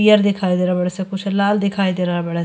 पियर दिखयी दे रहल बाड़ सं। कुछ लाल दिखयी दे रहल बाड़ --